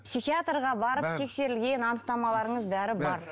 психиатрға барып тексерілген анықтамаларыңыз бәрі бар